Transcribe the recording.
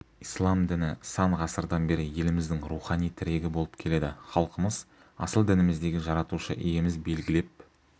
ислам діні сан ғасырдан бері еліміздің рухани тірегі болып келеді халқымыз асыл дініміздегі жаратушы иеміз белгілеп